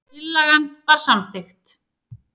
Tillagan var samþykkt.